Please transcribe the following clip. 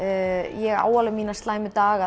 ég á mína slæmu daga